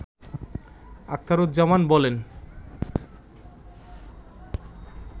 আখতারুজ্জামান বলেন